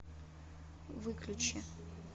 выключи